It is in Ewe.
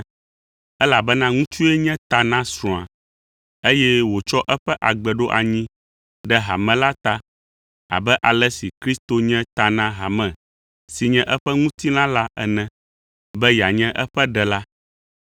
Elabena ŋutsue nye ta na srɔ̃a, eye wòtsɔ eƒe agbe ɖo anyi ɖe hame la ta abe ale si Kristo nye ta na hame si nye eƒe ŋutilã la ene be yeanye eƒe Ɖela.